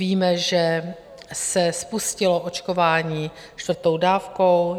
Víme, že se spustilo očkování čtvrtou dávkou.